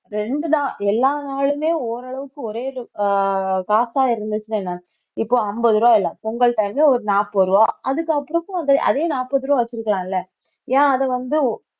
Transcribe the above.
ரெண்டுதான் எல்லா நாளுமே ஓரளவுக்கு ஒரே அஹ் காசா இருந்துச்சுன்னா என்ன இப்போ அம்பது ரூபாய் இல்லை பொங்கல் time ல ஒரு நாற்பது ரூபாய் அதுக்கப்புறமும் அதே நாற்பது ரூபாய் வச்சிருக்கலாம்ல ஏன் அதை வந்து